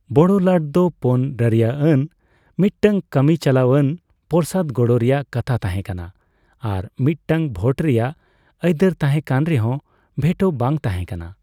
ᱵᱚᱲᱚ ᱞᱟᱴᱫᱚ ᱯᱳᱱ ᱨᱟᱹᱨᱤᱭᱟᱹᱟᱱ ᱢᱤᱫᱴᱟᱝ ᱠᱟᱹᱢᱤ ᱪᱟᱞᱟᱣ ᱟᱱ ᱯᱚᱥᱚᱨᱫᱽ ᱜᱚᱲᱚ ᱨᱮᱭᱟᱜ ᱠᱟᱛᱷᱟ ᱛᱟᱦᱮᱸ ᱠᱟᱱᱟ ᱟᱨ ᱢᱤᱫ ᱴᱟᱝ ᱵᱷᱳᱴ ᱨᱮᱭᱟᱜ ᱟᱹᱭᱫᱟᱹᱨ ᱛᱟᱦᱮᱸ ᱠᱟᱱ ᱨᱮᱦᱚᱸ ᱵᱷᱮᱴᱳ ᱵᱟᱝ ᱛᱟᱦᱮᱸ ᱠᱟᱱᱟ ᱾